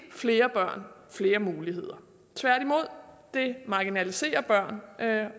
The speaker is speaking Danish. flere børn flere muligheder tværtimod marginaliserer de børn